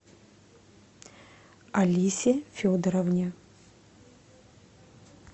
алисе федоровне